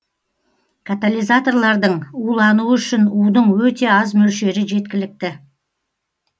катализаторлардын улануы үшін удың өте аз мөлшері жеткілікті